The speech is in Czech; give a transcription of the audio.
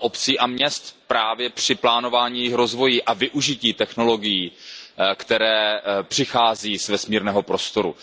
obcí a měst právě při plánování rozvoje a využití technologií, které přichází z vesmírného prostoru.